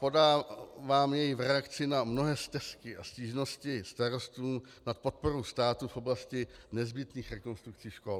Podávám jej v reakci na mnohé stesky a stížnosti starostů na podporu státu v oblasti nezbytných rekonstrukcí škol.